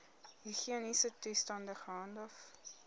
higiëniese toestande gehandhaaf